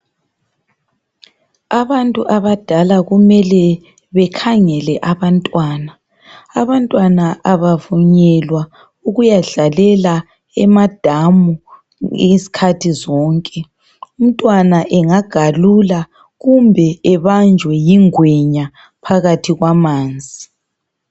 Abantu abadala kumele bekhangele abantwana. Abantwana abavunyelwa ukuyadlalela emadamu izikhathi zonke. Umntwana engagalula kumbe ebanjwe yingwenya phakathi kwamanzi.